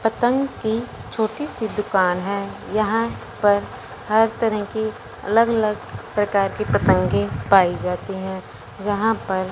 पतंग की छोटी सी दुकान है यहां पर हर तरह की अलग अलग प्रकार की पतंगे पाई जाती हैं जहां पर--